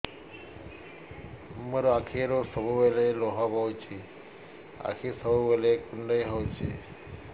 ମୋର ଆଖିରୁ ସବୁବେଳେ ଲୁହ ବୋହୁଛି ଆଖି ସବୁବେଳେ କୁଣ୍ଡେଇ ହଉଚି